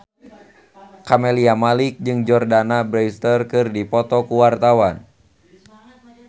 Camelia Malik jeung Jordana Brewster keur dipoto ku wartawan